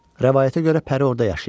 Rəvayətə görə Pəri orada yaşayırdı.